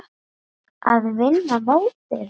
Að vinna mótið?